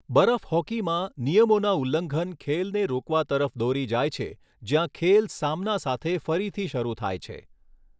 બરફ હોકીમાં, નિયમોના ઉલ્લંઘન ખેલને રોકવા તરફ દોરી જાય છે જ્યાં ખેલ સામના સાથે ફરીથી શરૂ થાય છે.